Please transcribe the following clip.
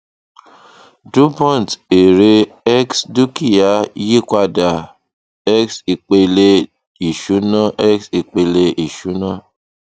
dupont èrè x dúkìá yípadà x ipele ìṣúná x ipele ìṣúná